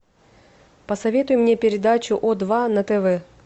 посоветуй мне передачу о два на тв